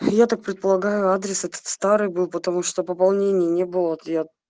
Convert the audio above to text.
я так предполагаю адрес этот старый был потому что пополнений не было вот я